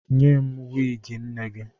Nye m wiigi nne gị!